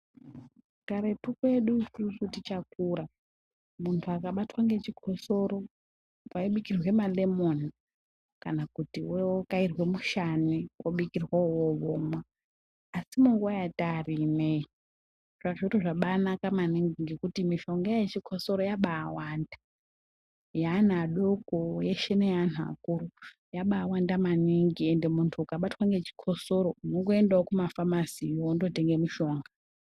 Karetu kwedu isusu tichakura, muntu akabatwa ngechikosoro, maibikirwe malemoni kana kuti wokairwe mushane wobikirwa iwowo womwa. Asi munguva yataari ineyi, zviro zvabanaka maningi ngekuti mishonga yechikosoro yabawanda. Yeana adoko yeshe neyeanhu akuru, yabawanda maningi ende muntu ukabatwa ngechikosoro, unongoendawo kumafamasiyo wondotenge mushonga.